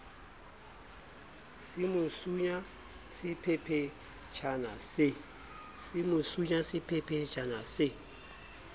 se mo sunya sephephetjhana se